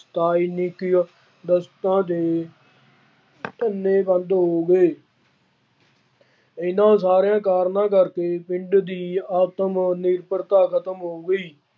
ਸਥਾਈ ਵਸਤਾਂ ਦੇ ਧੰਦੇ ਬੰਦ ਹੋ ਗਏ। ਇਹਨਾ ਸਾਰਿਆਂ ਕਾਰਨਾਂ ਕਰਕੇ ਪਿੰਡ ਦੀ ਆਤਮ ਨਿਰਭਰਤਾ ਖਤਮ ਹੋ ਗਈ।